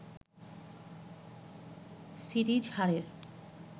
series হারের